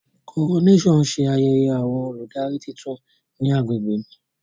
Coronation ṣe ayẹyẹ awọn oludari titun ni agbegbe mi.